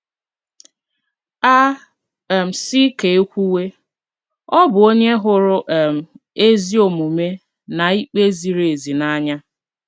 A um sị ka e kwuwe, ọ bụ onye hụrụ um ezi omume na ikpe ziri ezi n'anya.